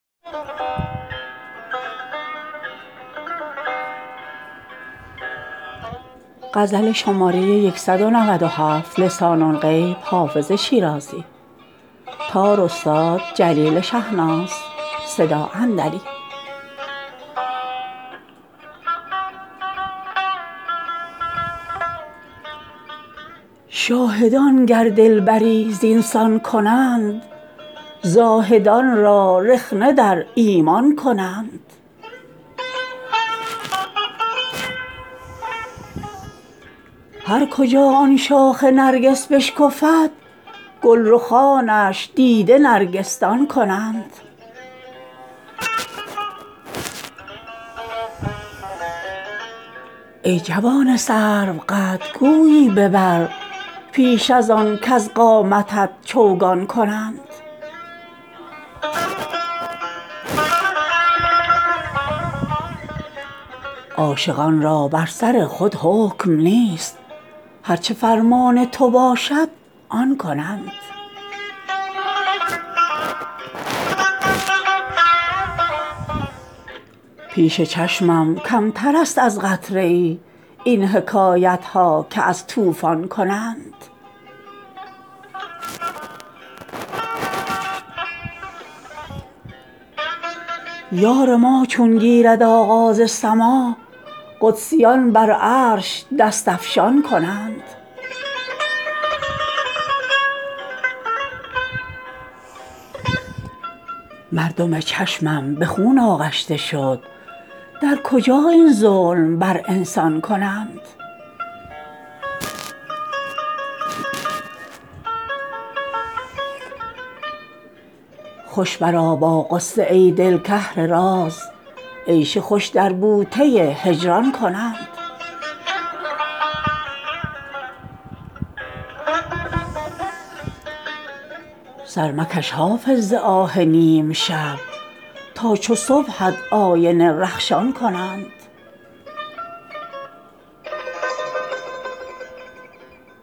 شاهدان گر دلبری زین سان کنند زاهدان را رخنه در ایمان کنند هر کجا آن شاخ نرگس بشکفد گل رخانش دیده نرگس دان کنند ای جوان سروقد گویی ببر پیش از آن کز قامتت چوگان کنند عاشقان را بر سر خود حکم نیست هر چه فرمان تو باشد آن کنند پیش چشمم کمتر است از قطره ای این حکایت ها که از طوفان کنند یار ما چون گیرد آغاز سماع قدسیان بر عرش دست افشان کنند مردم چشمم به خون آغشته شد در کجا این ظلم بر انسان کنند خوش برآ با غصه ای دل کاهل راز عیش خوش در بوته هجران کنند سر مکش حافظ ز آه نیم شب تا چو صبحت آینه رخشان کنند